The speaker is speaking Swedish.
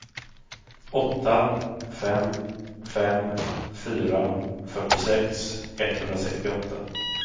åtta fem fem fyra fyrtiosex etthundrasextioåtta